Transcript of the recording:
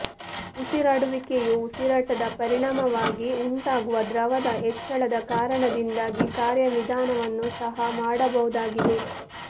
ಉಸಿರಾಡುವಿಕೆಯು ಉಸಿರಾಟದ ಪರಿಣಾಮವಾಗಿ ಉಂಟಾಗುವ ದ್ರವದ ಹೆಚ್ಚಳದ ಕಾರಣದಿಂದಾಗಿ ಕಾರ್ಯವಿಧಾನವನ್ನು ಸಹ ಮಾಡಬಹುದಾಗಿದೆ